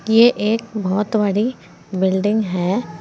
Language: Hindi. ये एक बहोत बड़ी बिल्डिंग है।